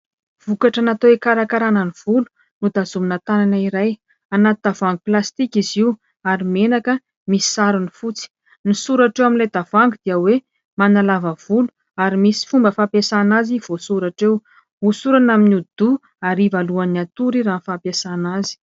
Vokatra natao hikarakarana ny volo, notazomina tànana iray. Anaty tavoahangy plastika izy io, ary menaka misy sarony fotsy. Ny soratra eo amin'ilay tavoahangy dia hoe manalava volo, ary misy fomba fampiasana azy voasoratra eo. Hosorana amin'ny hodi-doha, hariva alohan'ny hatory, raha ny fampiasana azy.